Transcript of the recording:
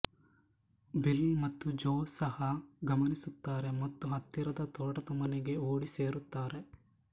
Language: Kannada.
ಬಿಲ್ ಮತ್ತು ಜೋ ಸಹ ಇದನ್ನು ಗಮನಿಸುತ್ತಾರೆ ಮತ್ತು ಹತ್ತಿರದ ತೋಟದಮನೆಗೆ ಓಡಿ ಸೇರುತ್ತಾರೆ